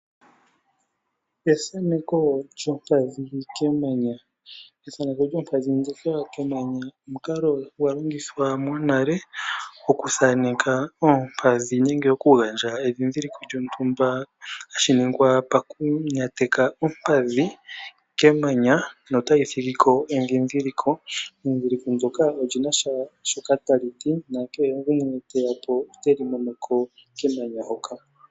Ethaneko lyompadhi kemanya. Ethano lyompadhi kemanya omukalo gwa longithwa monale oku thaneke oompadhi nenge oku gandja edhidhiliko lyontumba. Hashi ningwa moku nateka ompadhi kemanya notayi thigiko edhidhiliko. Edhidhiliko ndjoka oli nasha shoka tali ti. Nakehe gumwe teya po oteli mono kemanya hoka.